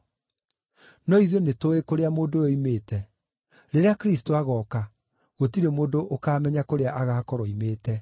No ithuĩ nĩtũũĩ kũrĩa mũndũ ũyũ oimĩte; rĩrĩa Kristũ agooka, gũtirĩ mũndũ ũkaamenya kũrĩa agaakorwo oimĩte.”